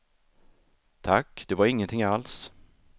Tack, det var ingenting alls.